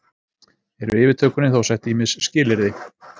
Eru yfirtökunni þó sett ýmis skilyrði